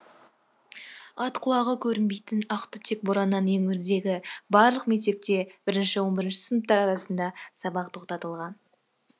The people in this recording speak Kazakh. ат құлағы көрінбейтін ақ түтек бораннан еңөрдегі барлық мектепте бірінші он бірінші сыныптар арасында сабақ тоқтатылған